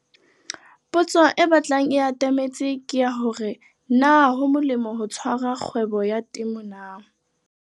Potso e batlang e atametse ke ya hore na ho molemo ho tshwara kgwebo ya temo na?